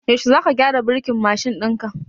Yaushe za ka gyara burkin mashin ɗin ka?